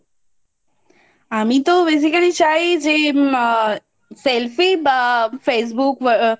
আমি তো Basically চাই যে আ Selfie বা Facebook Whatsapp